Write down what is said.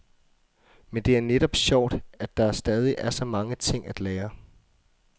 Men det er netop sjovt, at der stadig er så mange ting at lære.